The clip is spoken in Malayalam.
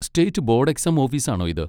സ്റ്റേറ്റ് ബോഡ് എക്സാം ഓഫീസ് ആണോ ഇത്?